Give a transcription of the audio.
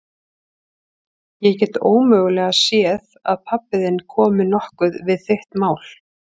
Ég get ómögulega séð að pabbi þinn komi nokkuð við þitt mál.